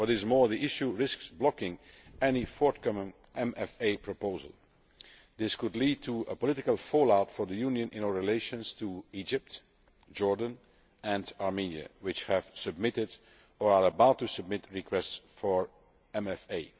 What is more, the issue risks blocking any forthcoming MFA proposal. This could lead to political fallout for the Union in our relations with Egypt, Jordan and Armenia, which have submitted, or are about to submit, requests for MFA.